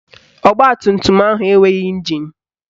Ọgbatumtum ahụ enweghị ịnjin